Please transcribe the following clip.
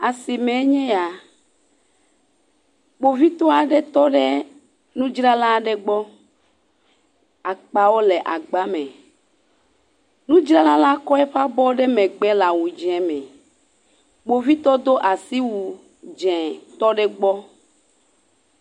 Asimee nye ya. Kpovitɔ aɖe tɔ ɖe nudzrala aɖe gbɔ. Akpala le agbame. Nudzralala kɔ eƒe abɔ ɖe megbe le awu dzẽ me. Kpovitɔla do asiwu dzẽ, tɔ ɖe egbɔ.